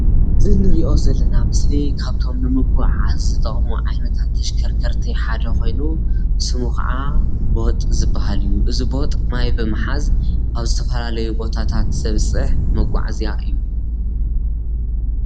እዚ ምስሊ እዚ መኪና እንትኸው ናይ ግልጋሎት ዝውዕል ቦጥ ተባሂሉ ይፅዋዕ።